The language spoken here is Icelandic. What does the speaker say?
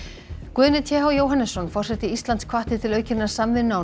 Guðni t h Jóhannesson forseti Íslands hvatti til aukinnar samvinnu á